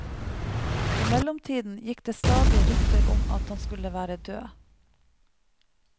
I mellomtiden gikk det stadig rykter om at han skulle være død.